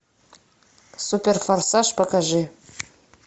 супер форсаж покажи